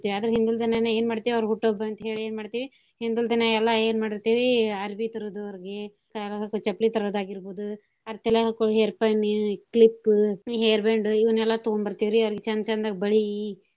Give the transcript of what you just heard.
ಅದ್ರ ಹಿಂದಿಲ್ ದಿನಾನ ಎನ್ ಮಾಡ್ತೀವಿ ಅವ್ರ ಹುಟ್ಟು ಹಬ್ಬ ಅಂತೇಳಿ ಎನ್ ಮಾಡ್ತೀವಿ ಹಿಂದಲ್ ದಿನಾ ಎಲ್ಲಾ ಎನ್ ಮಾಡೀರ್ತೇವಿ ಅರ್ಬಿ ತರೂದು ಅವ್ರಗೆ ತರ~ ಕಲಾಗ್ ಹಾಕ್ಕೋ ಚಪ್ಲಿ ತರೋದ್ ಆಗೀರ್ಬೋದು ಅದ್ ತಲ್ಯಾಗ ಹಾಕ್ಕೋಳೋ hair pin, clip, hair band ಇವನೆಲ್ಲಾ ತೂಗೋಂಬರ್ತಿವ ವ್ರಿ ಅವ್ರೀಗ ಚಂದ್ ಚಂದಗ ಬಳಿ.